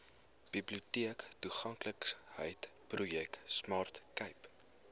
biblioteektoeganklikheidsprojek smart cape